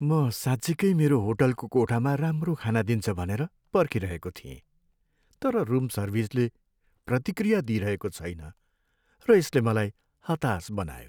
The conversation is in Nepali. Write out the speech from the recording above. म साँच्चिकै मेरो होटलको कोठामा राम्रो खाना दिन्छ भनेर पर्खिरहेको थिएँ, तर रुम सर्भिसले प्रतिक्रिया दिइरहेको छैन र यसले मलाई हताश बनायो।